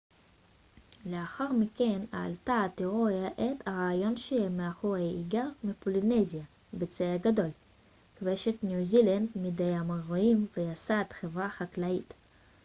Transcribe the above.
לאחר מכן העלתה התאוריה את הרעיון שהעם המאורי היגר מפולינזיה בצי גדול כבש את ניו זילנד מידי המוריורים וייסד חברה חקלאית